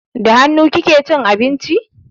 Da hannu kike cin abinci?